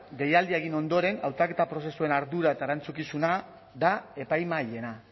deialdia egin ondoren hautaketa prozesuen ardura eta erantzukizuna da epaimahaiena